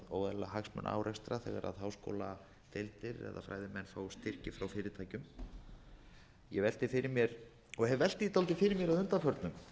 óeðlilega hagsmunaárekstra þegar háskóladeildir eða fræðimenn fá styrki frá fyrirtækjum ég velti fyrir mér og hef velt því dálítið fyrir mér að undanförnu